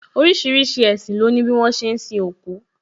Orísìírísìí ẹṣin lo ni bi wọn ṣe ń sin òkú